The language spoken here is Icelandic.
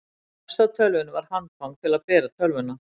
efst á tölvunni var handfang til að bera tölvuna